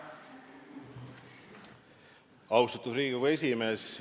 Austatud Riigikogu esimees!